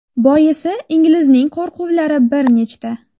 Boisi inglizning qo‘rquvlar bir nechta.